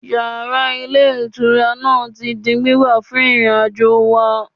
Yàrá Ilé Ìtura náà ti di gbígbà fún ìrìnàjò wà